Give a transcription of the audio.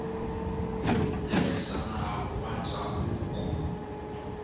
ku tirhisa nawu wa ndzhavuko